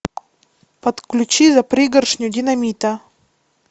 подключи за пригоршню динамита